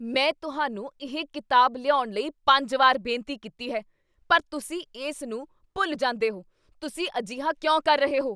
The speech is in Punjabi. ਮੈਂ ਤੁਹਾਨੂੰ ਉਹ ਕਿਤਾਬ ਲਿਆਉਣ ਲਈ ਪੰਜ ਵਾਰ ਬੇਨਤੀ ਕੀਤੀ ਹੈ ਪਰ ਤੁਸੀਂ ਇਸ ਨੂੰ ਭੁੱਲ ਜਾਂਦੇ ਹੋ, ਤੁਸੀਂ ਅਜਿਹਾ ਕਿਉਂ ਕਰ ਰਹੇ ਹੋ?